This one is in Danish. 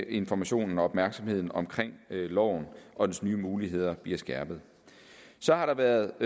informationen og opmærksomheden om loven og dens nye muligheder bliver skærpet så har der været